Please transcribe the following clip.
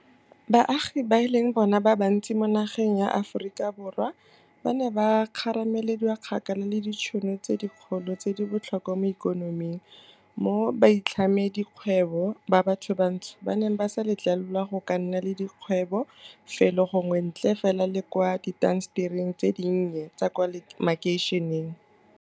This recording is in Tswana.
Baagi ba e leng bona ba bantsi mo nageng ya Aforika Borwa ba ne ba kgaramelediwa kgakala le ditšhono tse dikgolo tse di botlhokwa mo ikonoming, mo baitlhamedikgwebo ba bathobantsho ba neng ba sa letlelelwa go ka nna le dikgwebo felo gongwe ntle fela le kwa diintasetering tse dinnye tsa kwa makeišeneng.